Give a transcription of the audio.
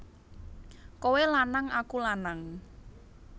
Kowe lanang aku lanang